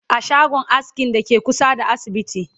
a shagon askin Dake kusa da asibiti